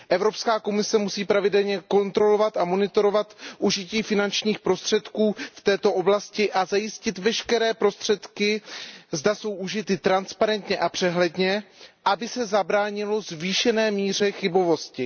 Evropská komise musí pravidelně kontrolovat a monitorovat užití finančních prostředků v této oblasti a zajistit, aby veškeré prostředky byly užity transparentně a přehledně, aby se zabránilo zvýšené míře chybovosti.